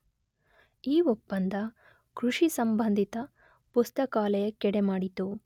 ಈ ಒಪ್ಪಂದ ಕೃಷಿ ಸಂಬಂಧಿತ ಪುಸ್ತಕಾಲಯಕ್ಕೆಡೆಮಾಡಿತು .